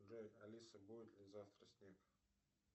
джой алиса будет ли завтра снег